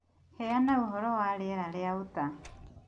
Heana ũhoro wa rĩera rĩa Utah